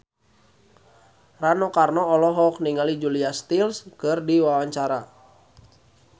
Rano Karno olohok ningali Julia Stiles keur diwawancara